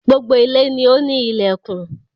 Gbogbo ilé ni o ni ilẹkùn.